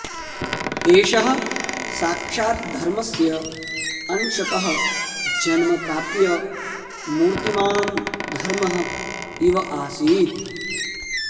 एषः साक्षात् धर्मस्य अंशतः जन्म प्राप्य मूर्तिमान् धर्मः इव आसीत्